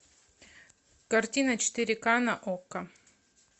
картина четыре ка на окко